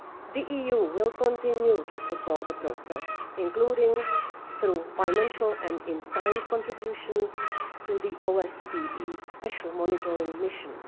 The EU will continue to support the process, including through financial and in kind contributions to the OSCE special monitoring mission.